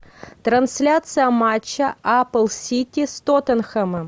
трансляция матча апл сити с тоттенхэмом